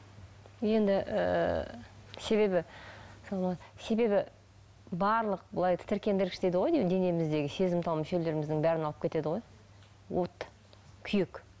енді ыыы себебі себебі барлық былай тітіркендіргіш дейді ғой денеміздегі сезімтал мүшелеріміздің бәрін алып кетеді ғой от күйік